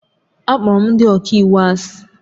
Akpọrọ m ndị ọka iwu asị